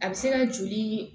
A bɛ se ka joli